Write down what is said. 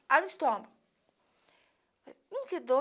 Abre o estômago. Hm que dor